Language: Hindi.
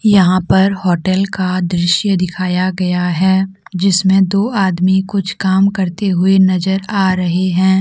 यहां पर होटल का दृश्य दिखाया गया है जिसमें दो आदमी कुछ काम करते हुए नजर आ रहे हैं।